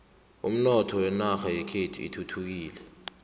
umnotho wenarha yekhethu uthuthukile